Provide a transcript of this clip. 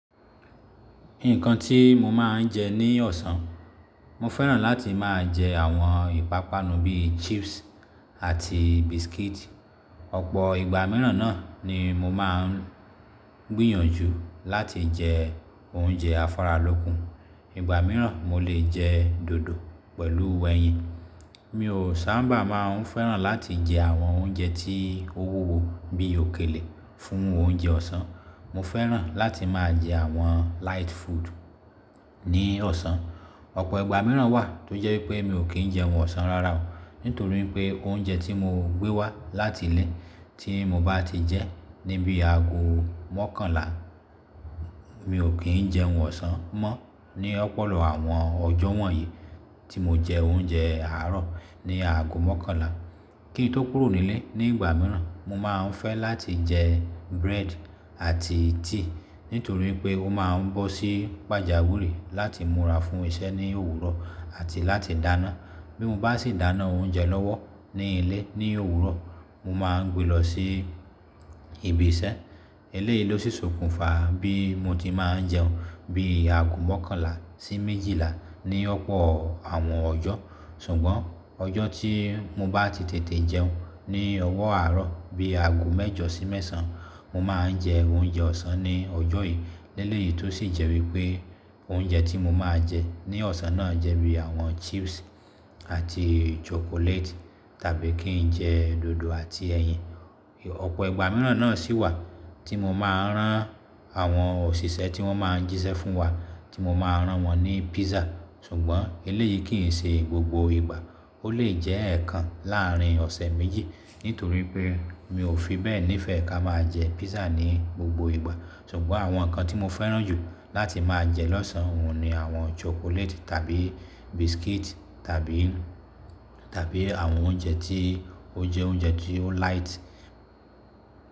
Nǹkan tí mo máa ń jẹ ní ọ̀sán, mo fẹ́ràn láti máa jẹ àwọn ìpápánu bíi chips àti biscuit. Ọ̀pọ̀ ìgbà mìíràn náà ni mo máa ń gbìyànjú láti jẹ oúnjẹ afáralókun. Ìgbà mìíràn mo lè jẹ dòdò pẹ̀lú ẹyin. Mi ò sábà máa ń fẹ́ràn láti jẹ àwọn oúnjẹ tí ó wu wo bíi òkèlè fún oúnjẹ ọ̀sán. Mo fẹ́ràn láti máa jẹ àwọn light food ní ọ̀sán. Ọ̀pọ̀ ìgbà mìíràn wà tó jẹ́ wípé mi ò kíń jẹ ohun ọ̀sán rara o, nítorí pé oúnjẹ tí mo gbé wá láti ilé tí mo bá ti jẹ níbi ago mọ́kànlá, mi ò kín jẹ ọ̀sán mọ́ ní ọ̀pọ̀lo àwọn ọjọ́ wọ̀nyí tí mo jẹ oúnjẹ àárọ̀ ní ago mọ́kànlá. Kín tó kúrò nílé ní ìgbà mìíràn, mo máa ń fẹ́ láti jẹ bread àti tíì nítorí pé ó máa ń bọ́ sí pàjàwìrì láti múra fún iṣẹ́ ní òwúrọ̀ àti láti dáná. Bí mo bá sì dáná oúnjẹ lọ́wọ́ ní ilé ní òwúrọ̀, mo máa ń gbe lọ sí ibi iṣẹ́. Eléyìí ló ṣòkùnfà bí mo ti máa ń jẹun bí ago mọ́kànlá sí méjìlá ní ọ̀pọ̀ àwọn ọjọ́. Ṣùgbọ́n ọjọ́ tí mo bá ti tètè jẹun ní ọwọ́ àárọ̀ bí ago mẹ́jọ sí mẹ́sàn-án, mo máa ń jẹ oúnjẹ ọ̀sán ní ọjọ́ yìí. Lẹ́léyìí tó sì jẹ́ wípé oúnjẹ tí mo máa jẹ ní ọ̀sán náà jẹ́ bí àwọn chips àti chocolate tàbí kín jẹ dòdò àti ẹyin. Ọ̀pọ̀ ìgbà mìíràn náà sì wà tí mo máa rán àwọn òṣìṣẹ́ tí wọ́n máa ń jíṣẹ́ fún wa tí mo máa rán wọ́n ní pizza. Ṣùgbọ́n eléyìí kìí ṣe gbogbo ìgbà, ó lè jẹ́ ẹ̀ẹ̀kan láàrín ọ̀sẹ̀ méjì. Nítorí pé mi ò fi bẹ́ẹ̀ ní ìfẹ́ ká máa jẹ pizza ní gbogbo ìgbà. Ṣùgbọ́n àwọn nǹkan tí mo fẹ́ràn jù láti máa jẹ lọ́sàn-án òun ni àwọn chocolate tàbí biscuit tàbí, tàbí àwọn oúnjẹ tí ó jẹ́ oúnjẹ tí ó light.